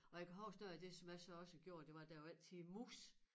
Og jeg kan huske noget af det som jeg så også gjorde det var der jo også altid mus